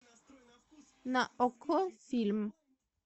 на окко фильм